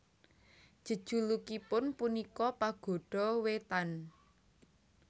Jejulukipun punika Pagoda Wetan